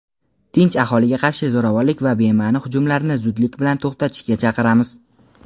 tinch aholiga qarshi zo‘ravonlik va bema’ni hujumlarni zudlik bilan to‘xtatishga chaqiramiz.